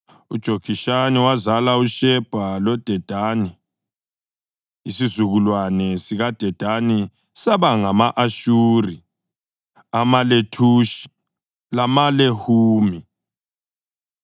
UJokishani wazala uShebha loDedani; isizukulwane sikaDedani saba ngama-Ashuri, amaLethushi lamaLehumi.